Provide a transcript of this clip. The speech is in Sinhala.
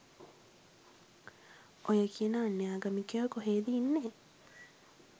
ඔය කියන අන්‍යාගමිකයෝ කොහෙද ඉන්නේ